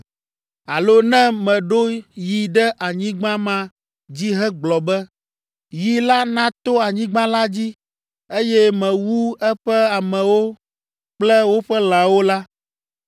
“Alo ne meɖo yi ɖe anyigba ma dzi hegblɔ be, ‘Yi la nato anyigba la dzi,’ eye mewu eƒe amewo kple woƒe lãwo la,